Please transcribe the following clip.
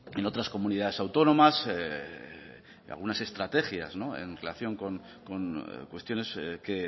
en otras comunidades autónomas algunas estrategias en relación con cuestiones que